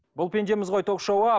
бұл пендеміз ғой ток шоуы